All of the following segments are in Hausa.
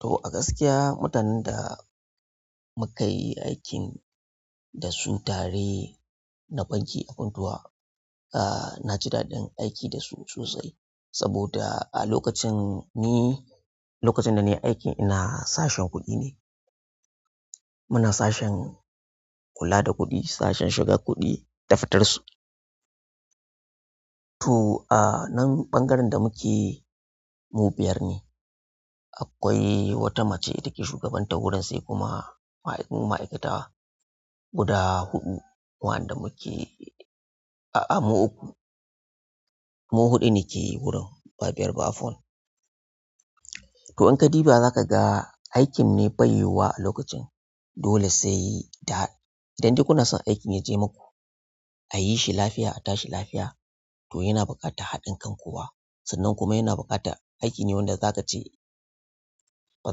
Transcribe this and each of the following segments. To a gaskiya mutanen da muka yi aikin da sun tare na banki a Funtuwa, ah na ji daɗin aiki da su sosai saboda a lokacin ni, lokacin da na yi aiki ina sashen kuɗi ne. Muna sashen kula da kuɗi, sashen shiga kuɗi da fitar su. To a nan ɓangaren da muke mu biyar ne. Akwai wata mace da ke shugabantar wurin, sai kuma ma, mu ma'aikatu guda huɗu. Wa'anda muke-- a a mu uku, mu huɗu ne ke wurin, ba biyar ba, afuwan. To in ka diba za ka ga aikin ne bai yiwuwa a lokacin. Dole sai da, idan dai ku na son aikin ya je maku a yi shi lafiya a tashi lafiya, to yana buƙata haɗin kan kowa. Sannan kuma yana buƙata aiki ne wanda za ka ce, ba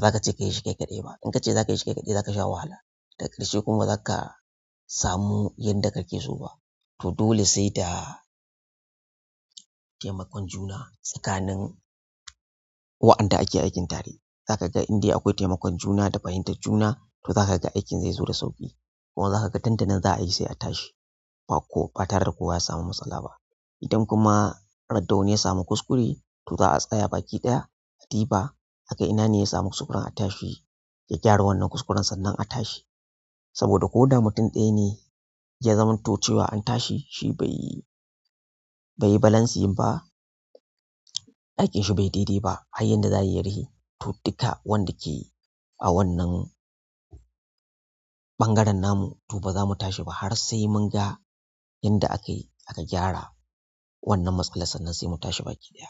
za ka ce ka yi shi kai kaɗai ba. In ka ce za ka yi shi ƙaiƙaɗai za ka sha wahala, da ƙarshe kuma ba za ka samu yanda ka ke so ba. To dole sai da taimakon juna tsakanin waɗanda ake aikin tare. Za ka ga indai akwai taimakon juna da fahimtar juna, to za ka ga aikin zai zo da sauƙi, kuma za ka ga dan danan za a yi sai a tashi, ba ko ɓatar da kowa ya samu matsala ba. Idan kuma ra da wani ya samu kuskure, to za a tsaya baki ɗaya a diba aga ina ne ya samu kuskuren a tashi ya gyara wannan kuskuren sannan a tashi. Saboda ko da mutum ɗaya ne, ya zamanto cewa an tashi shi bai yi, bai yi balancing ba, aikinsa bai yi dai-dai ba har yadda za a yi, ya rihe. To duka waɗanda ke a wannan ɓangaren namu, to ba za mu tashi ba har sai mun ga yadda aka yi aka gyara wannan matsala sannan sai mu tashi baki ɗaya.